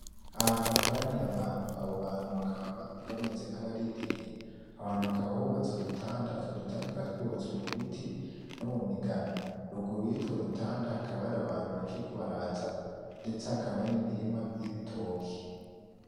Ahantu hakoraniye abantu, abo bantu bakaba bameze nk'abarindiriye, aho hantu hakaba hubatse udutanda, utwo dutanda tukaba twubatswe mu biti no mu migano, ruguru y'utwo dutanda hakaba hari abantu bakiriko baraza ndetse hakaba hari n'imirima y'ibitoki.